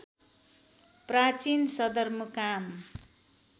प्राचीन सदरमुकाम